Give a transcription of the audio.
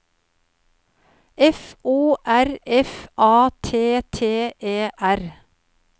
F O R F A T T E R